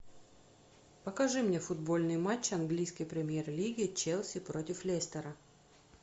покажи мне футбольный матч английской премьер лиги челси против лестера